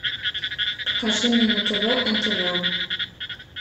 покажи мне на тв нтв